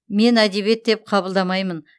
мен әдебиет деп қабылдамаймын